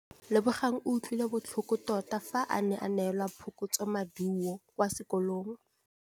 Lebogang o utlwile botlhoko tota fa a neelwa phokotsômaduô kwa sekolong.